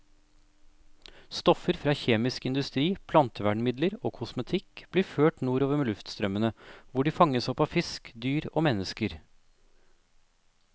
Stoffer fra kjemisk industri, plantevernmidler og kosmetikk blir ført nordover med luftstrømmene, hvor de fanges opp av fisk, dyr og mennesker.